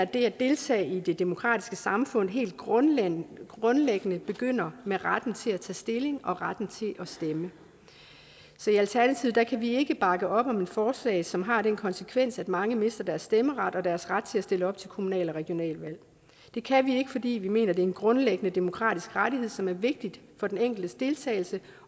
det at deltage i det demokratiske samfund helt grundlæggende grundlæggende begynder med retten til at tage stilling og retten til at stemme så i alternativet kan vi ikke bakke op om et forslag som har den konsekvens at mange mister deres stemmeret og deres ret til at stille op til kommunal og regionalvalg det kan vi ikke fordi vi mener det er en grundlæggende demokratisk rettighed som er vigtig for den enkeltes deltagelse